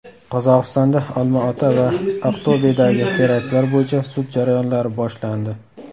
Qozog‘istonda Olmaota va Aqto‘bedagi teraktlar bo‘yicha sud jarayonlari boshlandi.